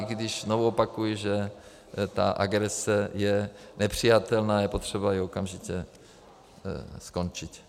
I když znovu opakuji, že ta agrese je nepřijatelná, je potřeba ji okamžitě skončit.